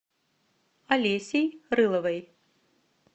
олесей рыловой